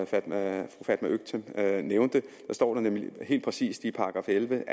fatma øktem nævnte står der nemlig helt præcis i § elleve